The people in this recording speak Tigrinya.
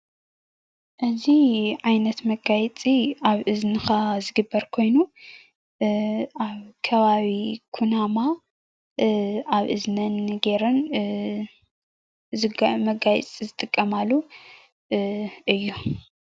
እዚ ዓይነት መጋየፂ ኣብ እዝኒካ ዝግበር ኮይኑ ኣብ ከባቢ ኩናማ ኣብ እዝነን ገይረን መጋየፂ ዝጥቀማሉ እዩ።